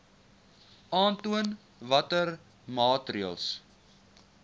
aantoon watter maatreëls